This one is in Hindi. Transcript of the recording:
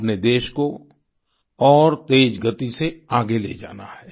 अपने देश को और तेज गति से आगे ले जाना है